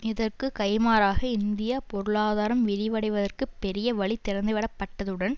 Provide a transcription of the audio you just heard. இதற்கு கைமாறாக இந்திய பொருளாதாரம் விரிவடைவதற்கு பெரிய வழி திறந்துவிடப்பட்டதுடன்